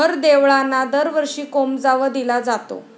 हरं देवळाना दरवर्षी कोमजावं दिला जातो